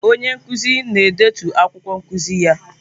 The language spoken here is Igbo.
Onye nkuzi na-edetu akwụkwọ nkuzi ya.